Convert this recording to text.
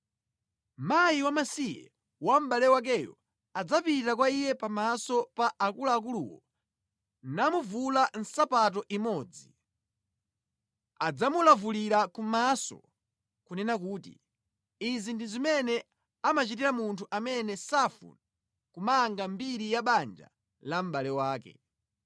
mkazi wamasiye wa mʼbale wakeyo adzapita kwa iye pamaso pa akuluakuluwo namuvula nsapato imodzi, adzamulavulire kumaso nʼkunena kuti, “Izi ndi zimene amachitira munthu amene safuna kupitiriza mbiri ya banja la mʼbale wake.”